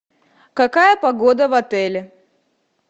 какая погода в отеле